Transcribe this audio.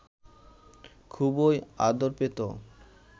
খুবই আদর পেত